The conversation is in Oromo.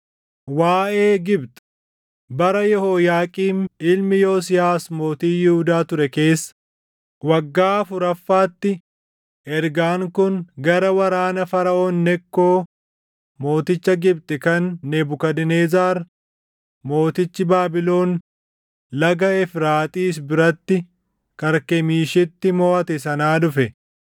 Waaʼee Gibxi: Bara Yehooyaaqiim ilmi Yosiyaas mootii Yihuudaa ture keessa, waggaa afuraffaatti ergaan kun gara waraana Faraʼoon Nekkoo mooticha Gibxi kan Nebukadnezar mootichi Baabilon laga Efraaxiis biratti Karkemiishitti moʼate sanaa dhufe: